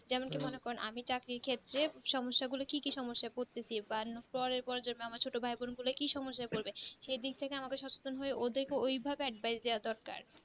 যেমন কি মনে করেন আমি চাকরির ক্ষেত্রে সম্যসাগুলো কি কি সম্যসা করতেছি বা পরের পরে জন্মে আমার ছোট ভাই বোন গুলো কি সমস্যাই পড়বে সেদিক থেকে আমাকে সচেতন হয়ে ওদেরকে ঐভাবে advice দেয়াও দরকার